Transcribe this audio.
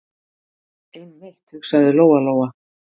Einmitt, hugsaði Lóa- Lóa.